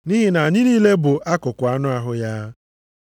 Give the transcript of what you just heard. Nʼihi na anyị niile bụ akụkụ anụ ahụ ya.